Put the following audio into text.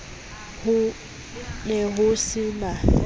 ho ne ho se na